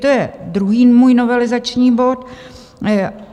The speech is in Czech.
To je můj druhý novelizační bod.